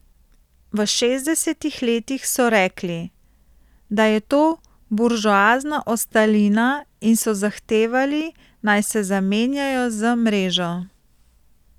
V šestdesetih letih so rekli, da je to buržoazna ostalina, in so zahtevali, naj se zamenjajo z mrežo.